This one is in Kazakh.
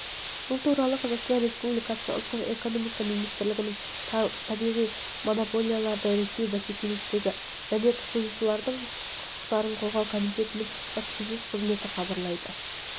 бұл туралы қазақстан республикасы ұлттық экономика министрлігінің табиғи монополияларды реттеу бәсекелестікті және тұтынушылардың құқықтарын қорғау комитетінің баспасөз қызметі хабарлайды